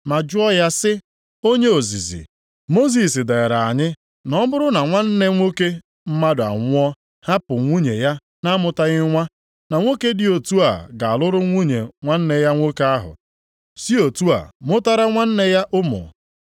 ma jụọ ya sị, “Onye ozizi, Mosis deere anyị na ọ bụrụ na nwanne nwoke mmadụ anwụọ hapụ nwunye ya na-amụtaghị nwa, na nwoke dị otu a ga-alụrụ nwunye nwanne ya nwoke ahụ, sị otu a, mụtara nwanne ya ụmụ.